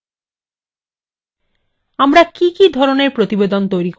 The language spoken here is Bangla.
আমরা কি কি ধরনের প্রতিবেদন তৈরী করতে চাই